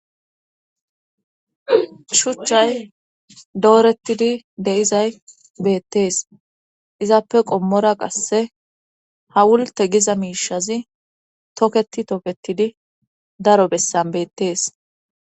shuchchay doorettidi deizay beettees izappe qommora qasse ha wulte giza miishazi tokketi toketidi daro bessan beettees